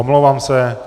Omlouvám se.